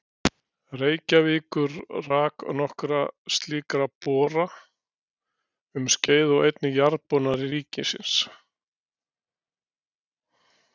Reykjavíkur rak nokkra slíka bora um skeið og einnig Jarðboranir ríkisins.